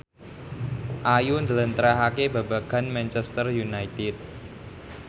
Ayu njlentrehake babagan Manchester united